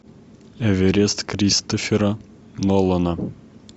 эверест кристофера нолана